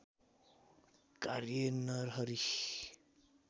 कार्य नरहरि